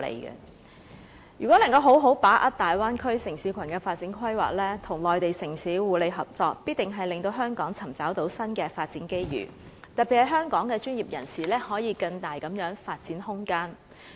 如果能夠好好把握大灣區城市群的發展規劃，與內地城市互利合作，必定令香港尋找到新的發展機遇，特別是香港專業人士，可以有更大的發展空間。